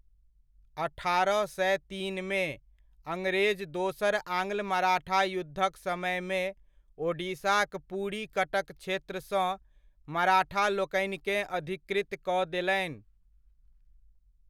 अठारह सए तीनमे, अंग्रेज दोसर आङ्गल मराठा युद्धक समयमे ओडिशाक पुरी कटक क्षेत्रसँ मराठालोकनिकेँ अधिकृत कऽ देलनि।